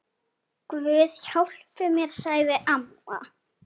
Guð hjálpi mér, sagði amma.